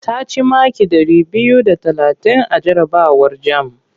Ta ci maki ɗari biyu da talatin a jarabawar jam.